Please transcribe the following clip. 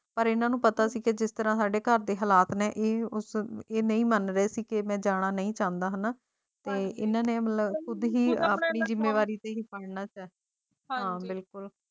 ਪਰ ਇਹਨਾਂ ਨੂੰ ਪਤਾ ਸੀ ਕਿ ਜਿਸ ਤਰ੍ਹਾਂ ਹੀ ਘਰ ਦੇ ਹਾਲਾਤ ਨੇ ਉਸ ਨੂੰ ਇਹ ਨਹੀਂ ਮੰਨਦੇ ਸੀ ਕਿ ਮੈਂ ਜਾਣਾ ਨਹੀਂ ਚਾਹੁੰਦਾ ਹਾਂ ਨਾਹ ਤੇ ਇਨ੍ਹਾਂ ਨੇ ਖੁਦ ਹੀ ਨਸ਼ਾਂ ਬਿਲਕੁਲ